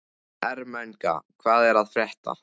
Ermenga, hvað er að frétta?